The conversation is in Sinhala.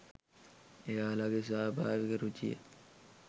එයාලගෙ ස්වාභාවික රුචිය